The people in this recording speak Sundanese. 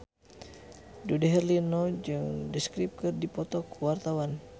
Dude Herlino jeung The Script keur dipoto ku wartawan